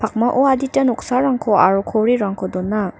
adita noksarangko aro korirangko dona.